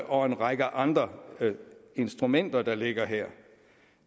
og en række andre af de instrumenter der ligger her